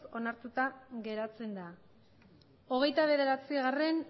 onartuta geratzen da hogeita bederatzigarrena